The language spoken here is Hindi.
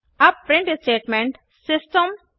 अब प्रिंट स्टेटमेंट सिस्टम